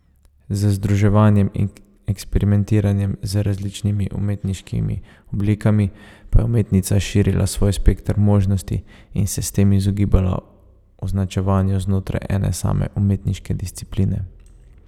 Z združevanjem in eksperimentiranjem z različnimi umetniškimi oblikami pa je umetnica širila svoj spekter možnosti in se s tem izogibala označevanju znotraj ene same umetniške discipline.